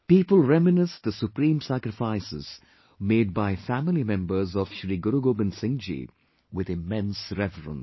People reminisce the supreme sacrifices made by family members of Shri Guru Gobind Singhji with immense reverence